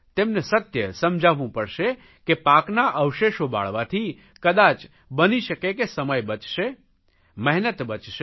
તેમને સત્ય સમજાવવું પડશે કે પાકના અવશેષો બાળવાથી કદાય બની શકે કે સમય બચશે મહેનત બચશે